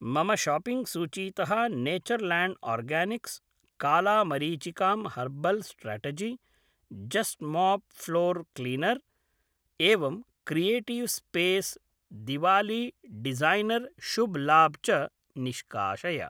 मम शापिङ्ग सूचीतः Nature Land Organics काला मरीचिकां Herbal Strategy Just Mop floor cleaner एवं Creative Space Diwali designer Shubh Labh च निष्काशय